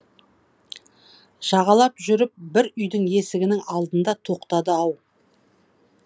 жағалап жүріп бір үйдің есігінің алдында тоқтады ау